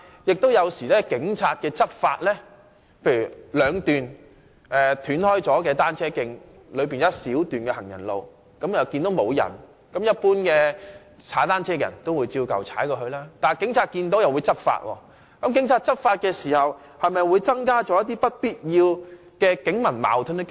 舉例來說，在兩段截斷的單車徑間有一小段行人路，一般單車使用者看到沒有行人時，也會直接踏單車過去，但警察看到時會執法，這無疑增加不必要的警民矛盾。